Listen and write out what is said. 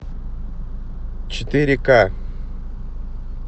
четыре ка